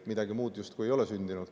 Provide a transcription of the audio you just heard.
Midagi muud justkui ei ole sündinud.